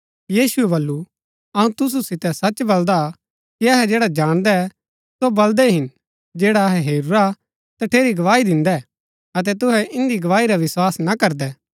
यीशुऐ वलू अऊँ तुसू सितै सच बलदा कि अहै जैडा जाणदै सो बलदै हिन जैडा अहै हेरूरा तठेरी गवाही दिन्दै अतै तूहै इन्दी गवाही रा विस्वास ना करदै